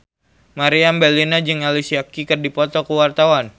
Meriam Bellina jeung Alicia Keys keur dipoto ku wartawan